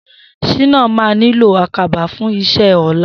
Shina mà niló àkábá fùn iṣẹ̀ ọlá